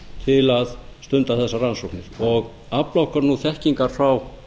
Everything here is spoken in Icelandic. til að stunda þessar rannsóknir og afla okkur þekkingar frá